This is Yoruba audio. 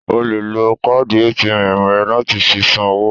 O le lo káàdì ATM rẹ láti fi san owó.